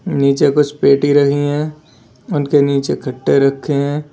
नीचे कुछ पेटी रही हैं उनके नीचे खट्टे रखे हैं।